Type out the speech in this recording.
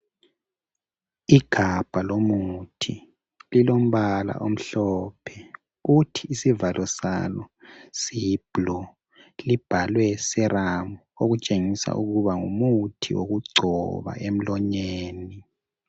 Igabha lomuthi lilombala omhlophe kuthi isivalo salo siyi blue libhalwe syrup okutshengisela ukuthi ngumuthi wokugcoba emlonyeni